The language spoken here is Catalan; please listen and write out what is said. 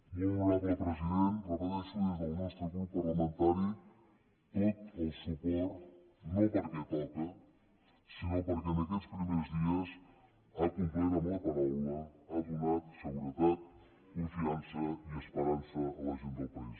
molt honorable president ho repeteixo des del nostre grup parlamentari tot el suport no perquè toca sinó perquè en aquests primers dies ha complert amb la paraula ha donat seguretat confiança i esperança a la gent del país